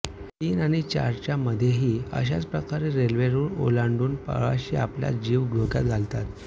तीन आणी चार च्या मध्येही अशाच प्रकारे रेल्वे रुळ ओलांडुन प्रवाशी आपला जिव धोक्यात घालतात